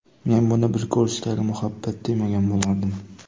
Men buni bir ko‘rishdagi muhabbat demagan bo‘lardim.